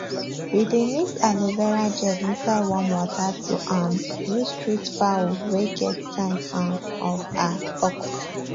we dey mix aloe vera gel inside warm water to um use treat fowl wey get sign um of um pox